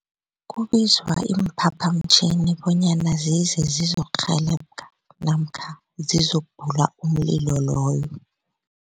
Kubizwa iimphaphamtjhini bonyana zize zizokurhelebha namkha zizokubhulula umlilo loyo.